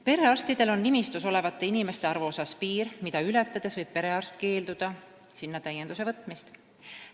Perearstidel on nimistus olevate inimeste arvule kehtestatud piir, mida ületades võib perearst keelduda sinna täienduse võtmisest.